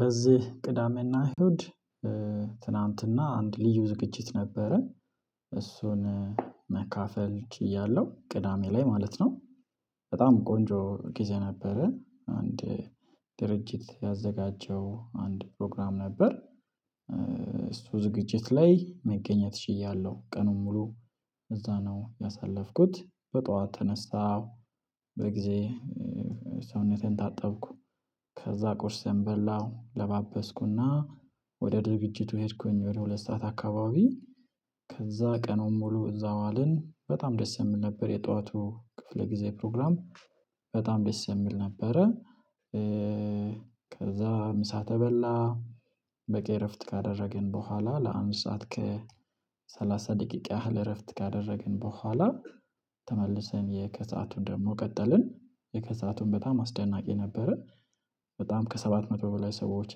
በዚህ ቅዳሜና እሁድ ትናንትና አንድ ልዩ ዝግችት ነበረን እሱን መካፈል ችያለሁ። ቅዳሜ ላይ ማለት ነው። በጣም ቆንጆ ጊዜ ነበረን አንድ ድርጅት ያዘጋጀው አንድ ፕሮግራም ነበር። ዝግጅት ላይ መገኘት ችያለሁ ቀኑን ሙሉ። እዛ ነው ያሳለፍኩት በጧት ተነሳሁ። በጊዜ ሰውነቴን ታጠብኩ። ከዛ ቁርስም በላው ለባበስኩና ወደ ድርጅቱ ሄድኩኝ ወደ ሁለት ሰዓት አካባቢ። ከዛ ቀኑን ሙሉ እዛው አለን በጣም ደስ የምል ነበር። የጠዋቱ ክፍለ ጊዜ ፕሮግራም በጣም ደስ የሚል ነበረ። ከዛ ምሳ ተበላ። በቂ እረፍት ካደረግን በኋላ ለአንድ ሰዓት ከሰላሳ ደቂቃ ያህል እረፍት ካደረግን በኋላ። የከሰአቱን ደግሞ ቀጠልን የከሰአቱን በጣም አስደናቂ ነበረን። በጣም ከሰባት መቶ በላይ ሰዎች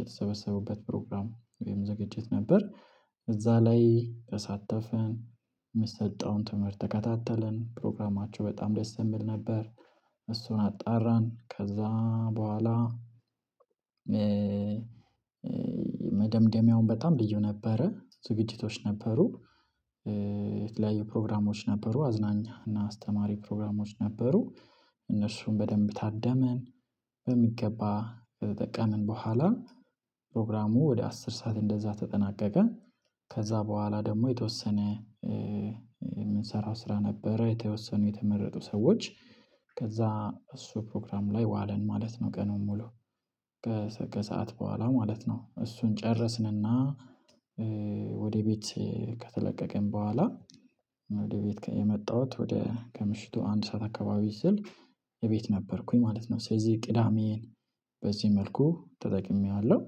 የተሰበሰቡበት ፕሮግራም ወይም ዝግጀት ነበር። እዛ ላይ ተሳተፍን የምትሰጠውን ትምህርት ተከታተልን ፕሮግራማቸው በጣም ደስ የምል ነበር። እሱን አጣራን ከዛ በኋላ መደምደሚያውም በጣም ልዩ ነበረ ዝግጅቶች ነበሩ። የተለያዩ ፕሮግራሞች ነበሩ አዝናኛ እና አስተማሪ ፕሮግራሞች ነበሩ። እነርሱን በደንብ ታደመን በሚገባ ከተጠቀምን በኋላ ፕሮግራሙ ወደ አስር ሰዓት እንደዛ ተጠናቀቀ። ከዛ በኋላ ደግሞ የተወሰነ የምንሰራው ስራ ነበረ የተወሰኑ የተመረጡ ሰዎች ከዛ እሱ ፕሮግራም ላይ ዋለን ማለት ነው ቀኑን ሙሉ። ከሰአት በኋላ ማለት ነው እሱን ጨረስንና ወደ ቤት ከተለቀቀን በኋላ ወደ ቤት የመጣሁት ወደ ከምሽቱ አንድ ሰዓት አካባቢ ስል የቤት ነበርኩኝ ማለት ነው። ስለዚህ ቅዳሜን በዚህ መልኩ ተጠቅሜዋለሁ።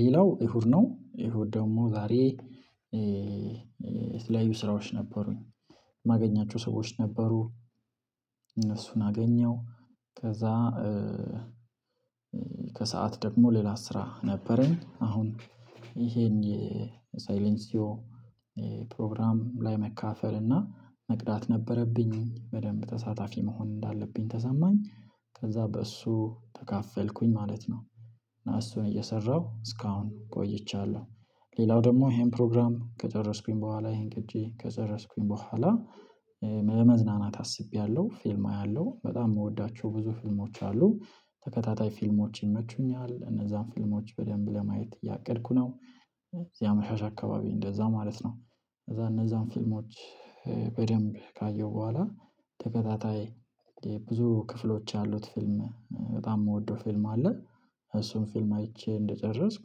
ሌላው እሁድ ነው ኢሁድ ደግሞ ዛሬ የተለያዩ ስራዎች ነበሩኝ የማገኛቸው ሰዎች ነበሩ። እነሱን አገኘው። ከዛ ከሰአት ደግሞ ሌላ ስራ ነበረኝ አሁን የሳይለንሲዮ ፕሮግራም ላይ መካፈል እና መቅዳት ነበረብኝ። በደንብ ተሳታፊ መሆን እንዳለብኝ ተሰማኝ ከዛ በእሱ ተካፈልኩኝ ማለት ነው። እሱን እየሰራሁ እስካሁን ቆይቻለሁ። ሌላው ደግሞ ይሄን ፕሮግራም ከጨረስኩኝ በኋላ ይሄን ቅጂ ከጨረስኩኝ በኋላ መዝናናት አስቤያለሁ ፊልም አያለሁ በጣም የምወዳቸው ብዙ ፊልሞች አሉ። ተከታታይ ፊልሞች ይመቹኛል እነዛን ፊልሞች በደንብ ለማየት እያቀድኩ ነው። ያመሻሽ አካባቢ እንደዛ ማለት ነው። ከዛ እነዛን ፊልሞች በደንብ ካየሁ በኋላተከታታይ ብዙ ክፍሎች ያሉት ፊልም በጣም የምወደው ፊልም አለ። እሱን ፊልም አይቼ እንደጨረስኩ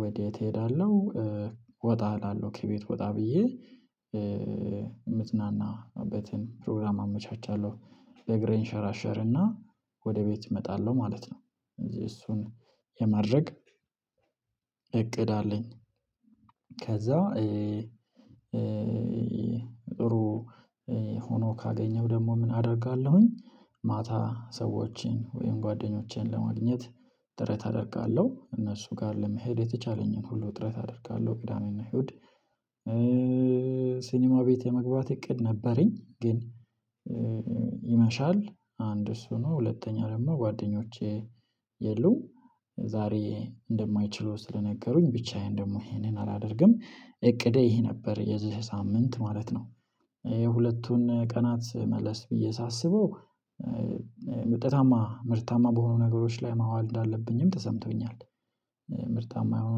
ወዴት እሄዳለሁ? ወጣሃለሁ ከቤት ወጣ ብዬ የምዝናናበትን ፕሮግራም አመቻቻለሁ። ለእግሬ እንሸራሸርና ወደ ቤት እመጣለሁ ማለት ነው። እዚህ እሱን የማድረግ እቅድ አለኝ። ከዛ እሩ ሆኖ ካገኘሁ ደግሞ ምን አደርጋለሁኝ? ማታ ሰዎችን ወይም ጓደኞቼን ለማግኘት ጥረት አደርጋለሁ እነሱ ጋር ለመሄድ የተቻለኝን ሁሉ ጥረት አደርጋለሁ። ቅዳሜና እሁድ ሲኒማ ቤት የመግባት እቅድ ነበረኝ። ግን ይመሻል አንድ እሱ ነው ሁለተኛ ደግሞ ጓደኞቼ የሉም። ዛሬ እንደማይችሉ ስለነገሩኝ ብቻዬን ደግሞ ይሄንን አላደርግም እቅዴ ይሄ ነበር የዚህ ሳምንት ማለት ነው። የሁለቱን ቀናት መለስ ብዬ ሳስበው ምርታማ ምርታማ በሆኑ ነገሮች ላይ ማዋል እንዳለብኝም ተሰምቶኛል። ምርታማ የሆኑ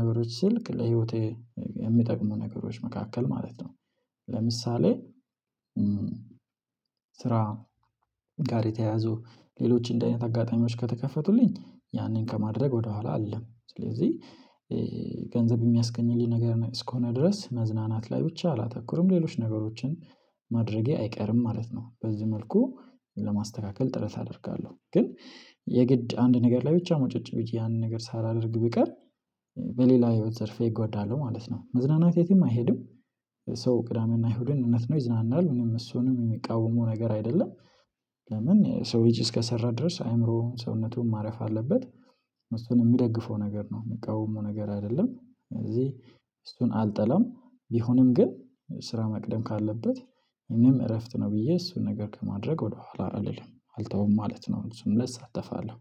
ነገሮች ስልክ ለህይወቴ የሚጠቅሙ ነገሮች መካከል ማለት ነው። ለምሳሌ ስራ ጋር የተያያዙ ሌሎች እንዲህ አይነት አጋጣሚዎች ከተከፈቱልኝ ያንን ከማድረግ ወደኋላ አለ። ስለዚህ ገንዘብ የሚያስገኝልኝ ነገር እስከሆነ ድረስ መዝናናት ላይ ብቻ አላተኩርም ሌሎች ነገሮችን ማድረጌ አይቀርም ማለት ነው። በዚህ መልኩ ለማስተካከል ጥረት አደርጋለሁ። ግን የግድ አንድ ነገር ላይ ብቻ ሙጭጭ ብዬ ያንን ነገር ሳላደርግ ብቀር በሌላ ህይወት ዘርፌ እጎዳለሁ ማለት ነው። መዝናናት የትም አይሄድም። ሰው ቅዳሜና እሁድን እውነት ነው ይዝናናል እኔም እሱንም የሚቃወመው ነገር አይደለም። ለምን የሰው ልጅ እስከሰራ ድረስ አይምሮ ሰውነቱን ማረፍ አለበት። እሱን የሚደግፈው ነገር ነው የሚቃወመው ነገር አይደለም። እዚህ እሱን አልጠላም ቢሆንም ግን ስራ መቅደም ካለበት እኔም እረፍት ነው ብዬ እሱን ነገር ከማድረግ ወደኋላ አልተውም ማለት ነው። እሱን ለሳተፋለሁ